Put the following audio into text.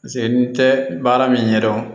Paseke n tɛ baara min ɲɛdɔn